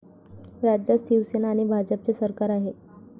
राज्यात शिवसेना आणि भाजपचे सरकार आहे.